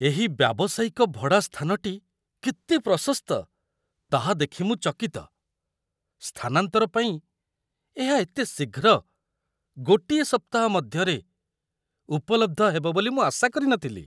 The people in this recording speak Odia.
ଏହି ବ୍ୟାବସାୟିକ ଭଡ଼ା ସ୍ଥାନଟି କେତେ ପ୍ରଶସ୍ତ ତାହା ଦେଖି ମୁଁ ଚକିତ। ସ୍ଥାନାନ୍ତର ପାଇଁ ଏହା ଏତେ ଶୀଘ୍ର, ଗୋଟିଏ ସପ୍ତାହ ମଧ୍ୟରେ, ଉପଲବ୍ଧ ହେବ ବୋଲି ମୁଁ ଆଶା କରିନଥିଲି!